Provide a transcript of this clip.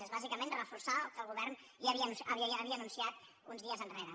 és bàsicament reforçar el que el govern ja havia anunciat uns dies enrere